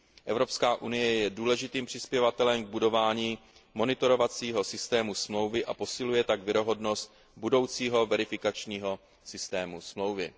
Evropská unie je důležitým přispěvatelem k budování monitorovacího systému smlouvy a posiluje tak věrohodnost budoucího verifikačního systému smlouvy.